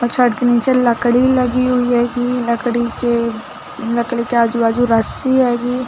और छड़ के नीचे लकड़ी लगी हुई हैगी लकड़ी के लड़की के आजु-बाजु रस्सी हैगी।